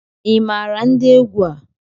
Ị maara ndị egwu a?